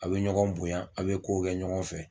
A be ɲɔgɔn bonya a be kow kɛ ɲɔgɔn fɛ